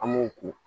An m'o ko